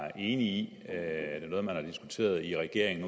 er enig i er det noget som man har diskuteret i regeringen